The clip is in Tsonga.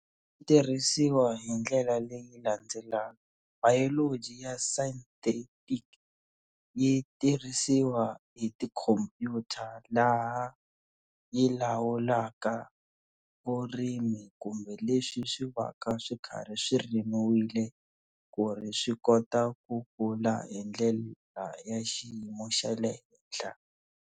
Tirhisiwa hi ndlela leyi landzelaka Biology ya synthetic yi tirhisiwa hi tikhompyuta laha yi lawulaka vurimi kumbe leswi swi va ka swi karhi swi rimiwile ku ri swi kota ku kula hi ndlela ya xiyimo xa le henhla.